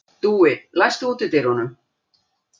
Dúi, læstu útidyrunum.